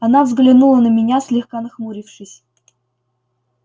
она взглянули на меня слегка нахмурившись